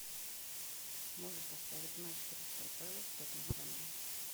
можешь поставить матч кристал пэлас с тоттенхэмом